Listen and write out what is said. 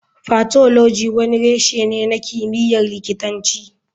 Pathology wani reshe ne na kimiyyar likitanci.